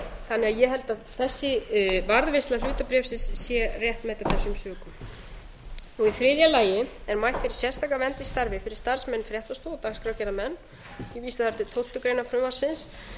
þannig að ég held að þessi varðveisla hlutabréfsins sé réttmæt af þessum sökum í þriðja lagi er mælt fyrir sérstaka vernd í starfi fyrir starfsmenn fréttastofu og dagskrárgerðarmenn ég vísa þar til tólftu greinar frumvarpsins